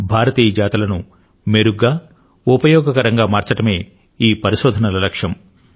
భారతీయ జాతులను మెరుగ్గా ఉపయోగకరంగా మార్చడమే ఈ పరిశోధనల లక్ష్యం